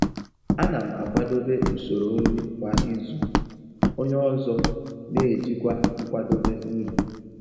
Ana m akwadebe usoro nri kwa izu, onye ọzọ n'ejikwa nkwadebe nri.